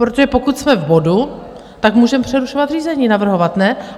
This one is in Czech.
Protože pokud jsme v bodu, tak můžeme přerušovat řízení, navrhovat, ne?